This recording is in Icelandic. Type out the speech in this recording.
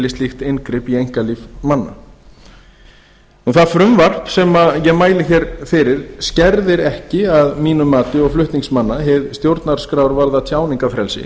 slíkt inngrip í einkalíf manna það frumvarp sem ég mæli hér fyrir skerðir ekki að mínu mati og flutningsmanna hið stjórnarskrárvarða tjáningarfrelsi